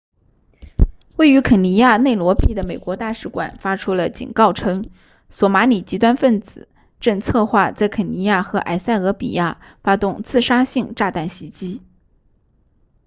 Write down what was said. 位于肯尼亚内罗毕的美国大使馆发出了警告称索马里极端分子正策划在肯尼亚和埃塞俄比亚发动自杀性炸弹袭击